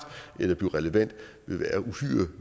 eller blive relevant